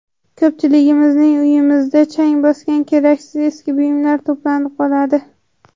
Ko‘pchiligimizning uyimizda chang bosgan keraksiz eski buyumlar to‘planib qoladi.